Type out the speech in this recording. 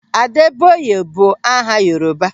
Adebayo bụ aha Yoruba.